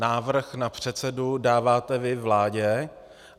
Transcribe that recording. Návrh na předsedu dáváte vy vládě?